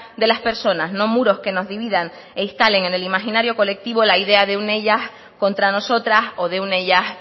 de las personas no muros que nos dividan e instalen en el imaginario colectivo la idea de un ellas contra nosotras o de un ellas